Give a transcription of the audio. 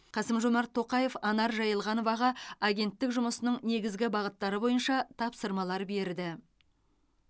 қасым жомарт тоқаев анар жайылғановаға агенттік жұмысының негізгі бағыттары бойынша тапсырмалар берді